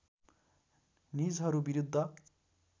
निजहरू विरुद्ध